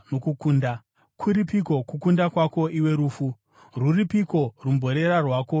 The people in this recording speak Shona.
“Kuripiko kukunda kwako iwe rufu? Rwuripiko rumborera rwako, iwe rufu?”